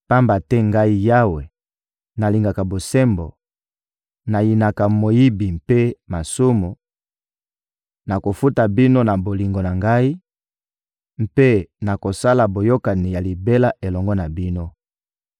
Pamba te Ngai Yawe, nalingaka bosembo, nayinaka moyibi mpe masumu; nakofuta bino na bolingo na Ngai mpe nakosala boyokani ya libela elongo na bino.